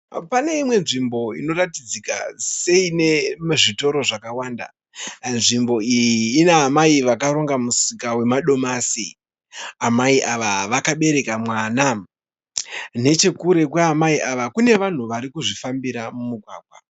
Pane imwe nzvimbo inoratidzika seine zvitoro zvakawanda. Nzvimbo iyi ina amai varonga musika wamadomasi. Amai ava vakabereka mwana. Nechekure kwaamai ava kune vanhu vari kuzvifambira mumugwagwa.